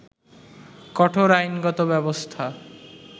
কঠোর আইনগত ব্যবস্থা